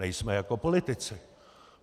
Nejsme jako politici.